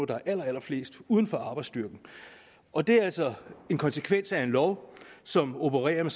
der er allerflest uden for arbejdsstyrken og det er altså en konsekvens af en lov som opererer med